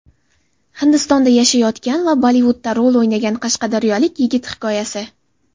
Hindistonda yashayotgan va Bollivudda rol o‘ynagan qashqadaryolik yigit hikoyasi.